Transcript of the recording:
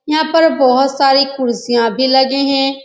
यहाँ पर बहोत सारी कुर्सियां भी लगे हैं।